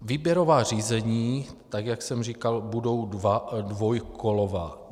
Výběrová řízení, tak jak jsem říkal, budou dvoukolová.